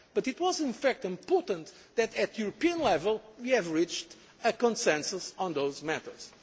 tax. But it was in fact important that, at European level, we have reached a consensus on those